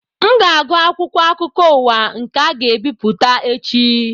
M ga-agụ akwụkwọ akụkọ ụwa nke a ga-ebipụta echi